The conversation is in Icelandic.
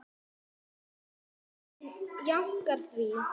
Hún jánkar því.